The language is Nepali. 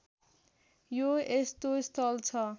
यो यस्तो स्थल छ